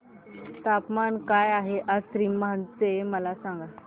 तापमान काय आहे आज सीमांध्र चे मला सांगा